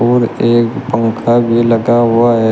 और एक पंखा भी लता हुआ है।